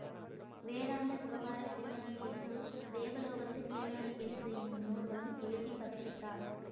வேதாந்த விவகாரக் criminal case தேவலோகத்துக் கிரிமினல் கேசு என்னும் நூல்களும் எழுதி பதிப்பித்தார்